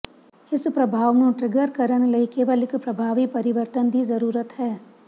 ਇਸ ਪ੍ਰਭਾਵ ਨੂੰ ਟਰਿੱਗਰ ਕਰਨ ਲਈ ਕੇਵਲ ਇੱਕ ਪ੍ਰਭਾਵੀ ਪਰਿਵਰਤਨ ਦੀ ਜ਼ਰੂਰਤ ਹੈ